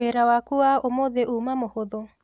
Wĩra waku wa ũmũthĩ uma mũhũthũ?